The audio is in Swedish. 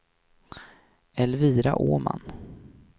Elvira Åman